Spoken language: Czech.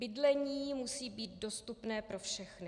Bydlení musí být dostupné pro všechny.